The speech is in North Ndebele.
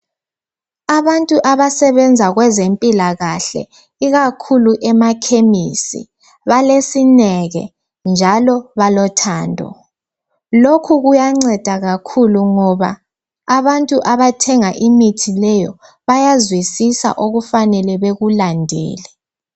Abantu abasebenza kwezempilakahle ikakhulu emakhemisi balesineke njalo balothando Lokhu kuyanceda kakhulu ngoba abantu abathenga imithi leyo bayazwisisa okufanele bekulandele